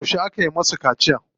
Yauce aka musu kaciya?